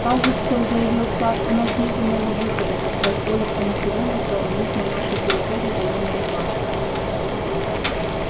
кажется заявил сатт у нас нет иного выхода как позволить анакреону соорудить на нашей территории военные базы